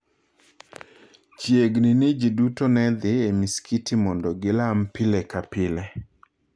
Chiegni ni ji duto ne dhi e masikiti mondo gilam pile ka pile.